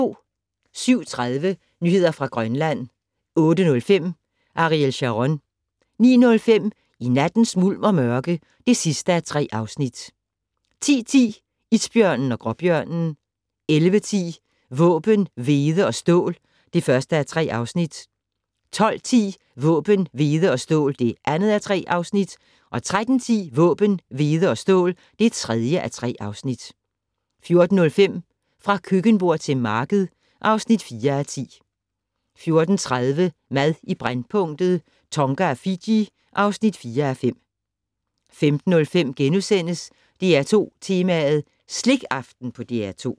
07:30: Nyheder fra Grønland 08:05: Ariel Sharon 09:05: I nattens mulm og mørke (3:3) 10:10: Isbjørnen og gråbjørnen 11:10: Våben, hvede og stål (1:3) 12:10: Våben, hvede og stål (2:3) 13:10: Våben, hvede og stål (3:3) 14:05: Fra køkkenbord til marked (4:10) 14:30: Mad i brændpunktet: Tonga og Fiji (4:5) 15:05: DR2 Tema: Slikaften på DR2 *